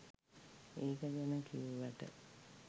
ඒක ගැන කිව්වට.